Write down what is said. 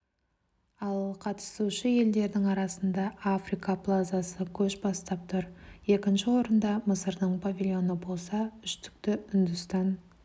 ал қатысушы елдердің арасында африка плазасы көш бастап тұр екінші орында мысырдың павильоны болса үштікті үндістан